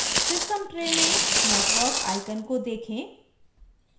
system tray में network icon को देखें